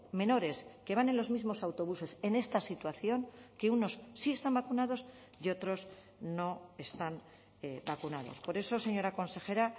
menores que van en los mismos autobuses en esta situación que unos sí están vacunados y otros no están vacunados por eso señora consejera